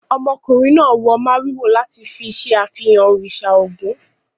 Ọmọkùnrin náà wọ màrìwò láti fi ṣe àfihàn òrìsà ògún.